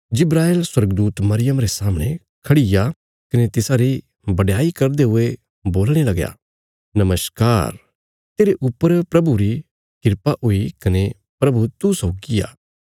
जिब्राईल स्वर्गदूत मरियम रे सामणे खड़ीग्या कने तिसारी बडयाई करदे हुए बोलणे लगया नमस्कार तेरे ऊपर प्रभुरी किरपा हुई कने प्रभु तू सौगी आ